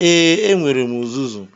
Ee, enwere m uzuzu.